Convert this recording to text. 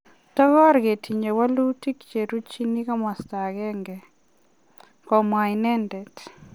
Tokor ketinye walutik cheruchin komasta agenge. Komwa inendet